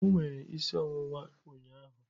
O nwere isi ọwụwa ụnyaahụ.